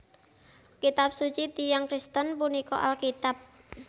Kitab suci tiyang Kristen punika Alkitab